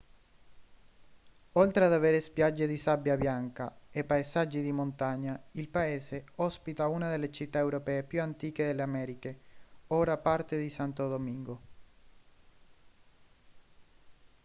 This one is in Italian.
oltre ad avere spiagge di sabbia bianca e paesaggi di montagna il paese ospita una delle città europee più antiche delle americhe ora parte di santo domingo